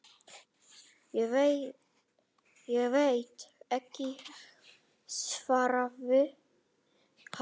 Ég veit ekki, svaraði hann.